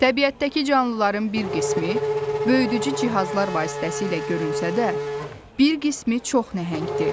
Təbiətdəki canlıların bir qismi böyüdücü cihazlar vasitəsilə görünsə də, bir qismi çox nəhəngdir.